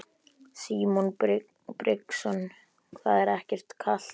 Símon Birgisson: Það er ekkert kalt?